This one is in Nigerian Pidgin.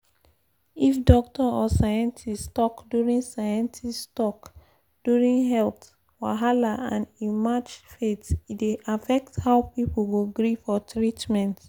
if doctor or scientist talk during scientist talk during health wahala and e match faith e dey affect how people go gree for treatment.